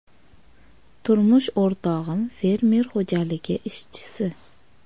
Turmush o‘rtog‘im fermer xo‘jaligi ishchisi.